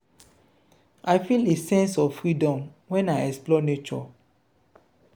i feel a sense of freedom when i explore nature.